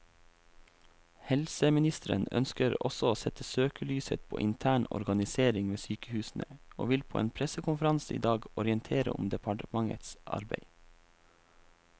Helseministeren ønsker også å sette søkelyset på intern organisering ved sykehusene, og vil på en pressekonferanse i dag orientere om departementets arbeid.